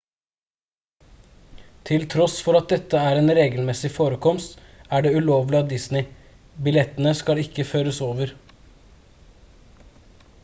til tross for at dette er en regelmessig forekomst er det ulovlig av disney billettene skal ikke føres over